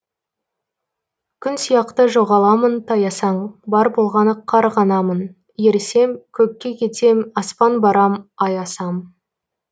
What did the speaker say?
күн сияқты жоғаламын таясаң бар болғаны қар ғанамын ерісем көкке кетем аспан барам ай асам